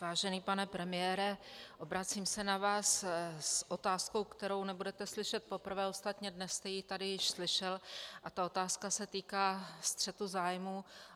Vážený pane premiére, obracím se na vás s otázkou, kterou nebudete slyšet poprvé, ostatně dnes jste ji tady již slyšel, a ta otázka se týká střetu zájmů.